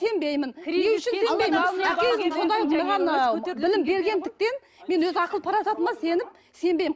білім бергендіктен мен өз ақыл парасатыма сеніп сенбеймін